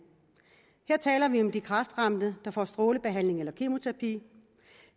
her taler vi om de kræftramte der får strålebehandling eller kemoterapi